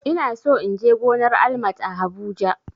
Ina so in je gonar Almat a habuja